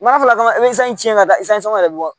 N'a fɔla kan ka taa yɛrɛ bɛ bɔ